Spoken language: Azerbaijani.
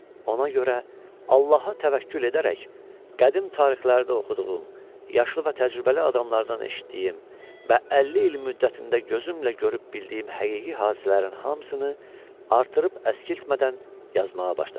Ona görə Allaha təvəkkül edərək qədim tarixlərdə oxuduğum, yaşlı və təcrübəli adamlardan eşitdiyim və 50 il müddətində gözümlə görüb bildiyim həqiqi hadisələrin hamısını artırıb əskiltmədən yazmağa başladım.